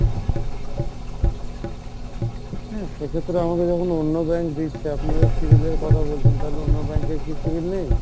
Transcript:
হ্যাঁ সেক্ষেত্রে আমাকে যখন অন্য bank দিচ্ছে আপনারা civil এর কথা বলছেন তালে অন্য bank এর কী civil নেই?